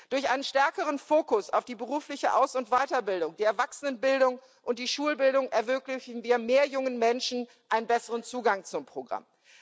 Durch einen stärkeren Fokus auf die berufliche Aus und Weiterbildung, die Erwachsenenbildung und die Schulbildung ermöglichen wir mehr jungen Menschen einen besseren Zugang zum Programm.